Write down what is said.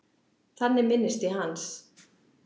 Þannig minnist ég hans.